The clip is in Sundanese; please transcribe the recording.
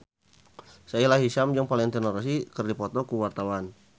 Sahila Hisyam jeung Valentino Rossi keur dipoto ku wartawan